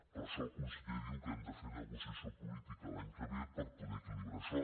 per això el conseller diu que hem de fer negociació política l’any que ve per poder equilibrar això